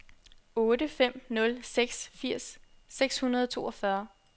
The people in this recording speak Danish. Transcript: otte fem nul seks firs seks hundrede og toogfyrre